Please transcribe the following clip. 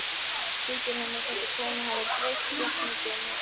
Þykir henni þessi kona hafa breyst jafn mikið og mér?